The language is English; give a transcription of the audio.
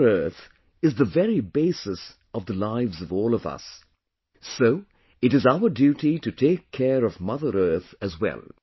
Mother Earth is the very basis of the lives of all of us... so it is our duty to take care of Mother Earth as well